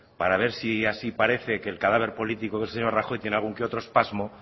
para ver si así parece que el cadáver político del señor rajoy tiene algún que otro espasmo